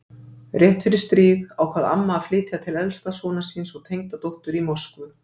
Rétt fyrir stríð ákvað amma að flytja til elsta sonar síns og tengdadóttur í Moskvu.